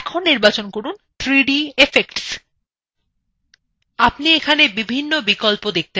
আপনি এখানে বিভিন্ন বিকল্প দেখে পাচ্ছেন